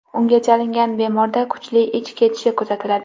Unga chalingan bemorda kuchli ich ketishi kuzatiladi.